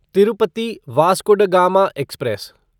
Tirupati Vasco da Gama express